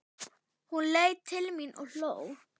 Hún leit til mín og hló.